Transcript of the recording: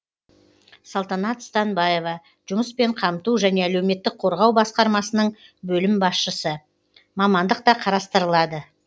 салтанат станбаева жұмыспен қамту және әлеуметтік қорғау басқармасының бөлім басшысы мамандық та қарастырылады